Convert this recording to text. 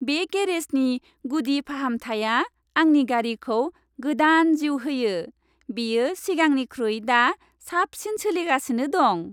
बे गेरेजनि गुदि फाहामथाइआ आंनि गारिखौ गोदान जिउ होयो, बेयो सिगांनिख्रुइ दा साबसिन सोलिगासिनो दं।